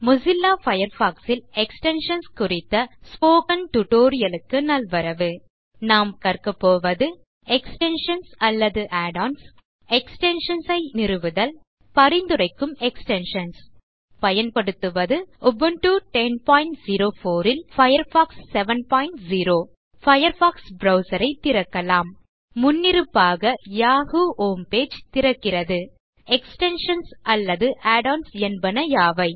Mozilla Firefox ல் extensions குறித்த spoken tutorial க்கு நல்வரவு இந்த டியூட்டோரியல் லில் நாம் கற்கபோவது எக்ஸ்டென்ஷன்ஸ் அல்லது add ஒன்ஸ் எக்ஸ்டென்ஷன்ஸ் ஐ நிறுவுதல் பரிந்துரைக்கும் எக்ஸ்டென்ஷன்ஸ் நாம் பயன்படுத்துவது உபுண்டு 1004 ல் பயர்ஃபாக்ஸ் 70 பயர்ஃபாக்ஸ் ப்ரவ்சர் ஐ திறக்கலாம் முன்னிருப்பாக யாஹூ ஹோம் பேஜ் திறக்கிறது எக்ஸ்டென்ஷன்ஸ் அல்லது add ஒன்ஸ் என்பன யாவை